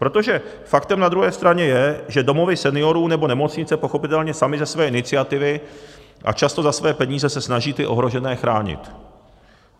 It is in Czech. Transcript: Protože faktem na druhé straně je, že domovy seniorů nebo nemocnice pochopitelně samy ze své iniciativy a často za své peníze se snaží ty ohrožené chránit.